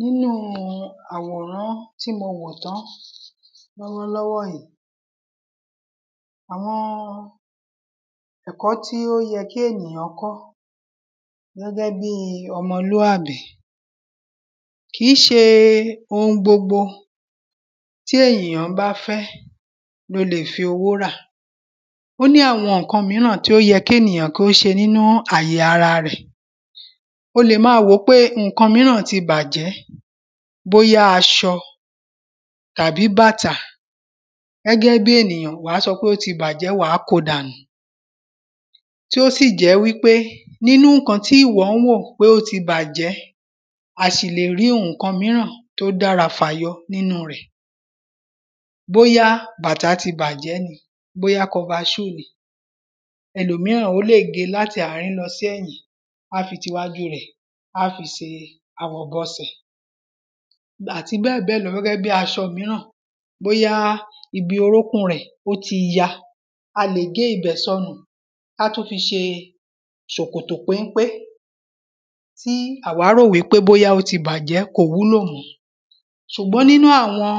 Nínú àwòrán tí mo wò tán lọ́wọ́ lọ́wọ́ yìí àwọn ẹ̀kọ́ tí ó yẹ kí èyàn kọ́ gẹ́gẹ́ bí ọmọlúàbí. Kìí ṣe ohun gbogbo tí ènìyàn bá fẹ́ ló le fi owó rà ó ní àwọn nǹkan míràn tí ó yẹ kí ènìyàn kí ó ṣe ní àyè ara rẹ̀ o lè má wòó pé nǹkan míràn ti bàjẹ́ bóyá aṣọ tàbí bàtà gẹ́gẹ́ bí ènìyàn wàá sọ pé ó ti bàjẹ́ wàá kó dànù tí ó sì jẹ́ wípé nínú nǹkan tíwọ ń rò pó ti bàjẹ́ a ṣì le rí ohunkan míràn tó dára fàyọ nínú rẹ̀ bóyá bàtà ti bàjẹ́ ni bóyá cover shoe ni ẹlòmíràn ó lè gé láti àárín lọ sí ẹ̀yìn á fi tiwájú rẹ̀ á fi se ìbọsẹ̀. àti bẹ́ẹ̀ bẹ́ẹ̀ lọ gẹ́gẹ́ bí aṣọ míràn bóyá ibi orúnkún rẹ̀ ó ti ya a lè gé ibẹ̀ sọnù ká tún fi ṣe ṣòkòtò pénpé. Tí àwa rò wípé ó ti bàjẹ́ pé kò wúlò mọ́ ṣùgbọ́n nínú àwọn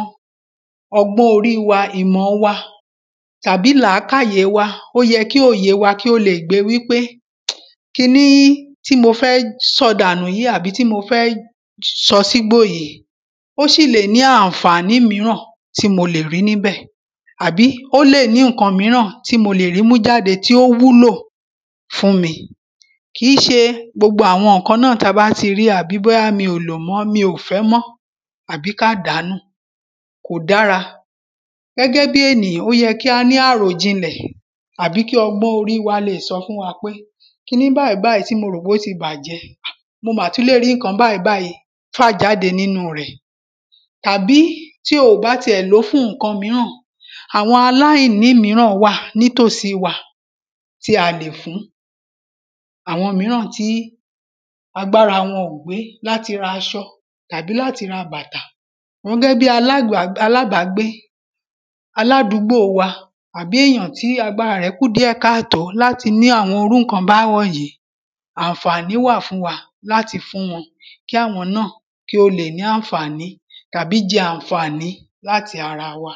ọgbọ́n orí wa ìmọ̀ wa tàbí làákáyè wa ó yẹ kí òye wa le gbé wípé kiní tí mo fẹ́ sọ dànù yìí àbí tí mo fẹ́ sọ sígbó yìí ó sì lè ní ànfàní míràn tí mo lè rí níbẹ̀ àbí ó lè ní nǹkan míràn tí mo lè rí mú jáde tí ó wúlò fún mi. Kìí ṣe gbogbo àwọn nǹkan náà tá bá ti rí tàbí bóyá mi ò lò mọ́ tàbí mi ò fẹ́ mọ́ àbí ká dàá nù kò dára. Gẹ́gẹ́ bí ènìyàn ó yẹ ká ní àròjinlẹ̀ àbí kí ọgbọ́n orí wa le sọ fún wa pé kiní bàyìí báyìí tí ó ti bàjẹ́ mo mà tún lè rí nǹkan báyìí fà jáde nínú rẹ̀. Tàbí tí o bá ti ẹ̀ ló fún nǹkan míràn àwọn aláìní míràn wà nítòsí wa tí a lè fún àwọn míràn tí agbára wọn ò gbé láti raṣọ tàbí láti ra bàtà gẹ́gẹ́ bí alábàgbé aládùgbò wa àbí èyàn tí agbáɹa rẹ̀ kù díẹ̀ káàtó láti ní àwọn irú nǹkan báwọ̀nyìí ànfàní wà fún wa láti fún wọn kí àwọn náà kí ó le ní ànfàní tàbí jẹ ànfàní láti ara wa.